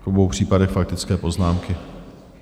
V obou případech faktické poznámky.